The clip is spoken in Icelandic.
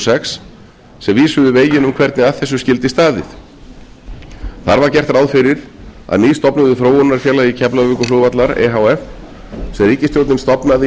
sex sem vísuðu veginn um hvernig að þessu skyldi staðið þar var gert ráð fyrir að nýstofnuðu þróunarfélagi keflavíkurflugvallar e h f sem ríkisstjórnin stofnaði í